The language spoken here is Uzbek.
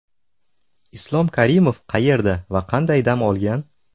Islom Karimov qayerda va qanday dam olgan?.